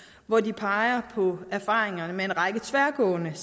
hvor de peger på erfaringerne med en række tværgående